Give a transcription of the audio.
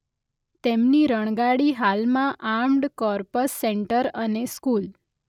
તેમની રણગાડી હાલમાં આર્મ્ડ કોર્પસ સેન્ટર અને સ્કુલ